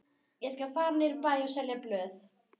Ég skal fara niður í bæ og selja blöð.